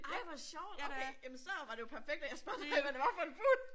Ej hvor sjovt okay jamen så var det jo perfekt at spørger til hvad det var for en fugl